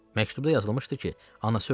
Məktubda yazılmışdı ki, anası ölüb.